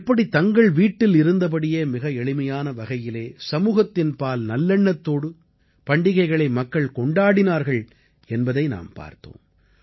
எப்படி தங்கள் வீட்டில் இருந்தபடியே மிக எளிமையான வகையிலே சமூகத்தின்பால் நல்லெண்ணத்தோடு பண்டிகைகளை மக்கள் கொண்டாடினார்கள் என்பதை நாம் பார்த்தோம்